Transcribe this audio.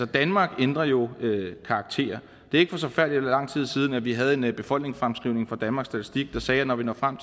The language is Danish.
danmark ændrer jo karakter det er ikke så forfærdelig lang tid siden vi havde en befolkningsfremskrivning fra danmarks statistik der sagde at når vi når frem